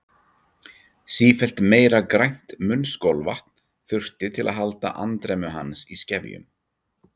Sífellt meira grænt munnskolvatn þurfti til að halda andremmu hans í skefjum.